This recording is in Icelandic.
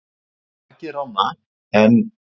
"""Takið rána, en"""